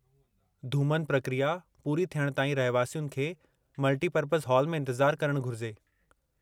धूमन प्रक्रिया पूरी थियण ताईं रहिवासियुनि खे मल्टीपरपज़ हॉल में इंतजारु करणु घुरिजे।